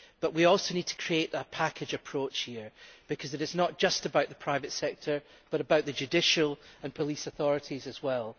But we also need to create a package approach here, because it is not just about the private sector but about the judicial and police authorities as well.